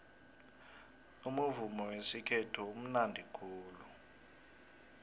umuvumo wesikhethu umunandi khulu